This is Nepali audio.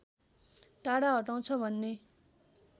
टाढा हटाउँछ भन्ने